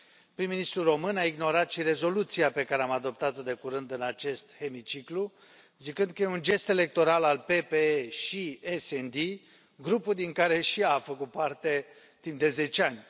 Prim ministrul român a ignorat și rezoluția pe care am adoptat o de curând în acest hemiciclu, zicând că e un gest electoral al PPE și SD, grupul din care și ea a făcut parte timp de zece ani.